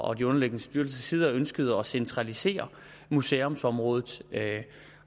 og de underliggende styrelsers side ønskede at centralisere museumsområdet